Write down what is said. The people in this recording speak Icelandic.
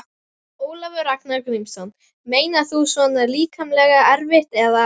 Ólafur Ragnar Grímsson: Meinar þú svona líkamlega erfitt eða?